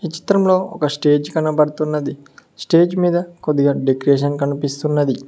ఈ చిత్రంలో ఒక స్టేజి కనపడుతున్నది స్టేజ్ మీద కొద్దిగా డెకరేషన్ కనిపిస్తున్నది.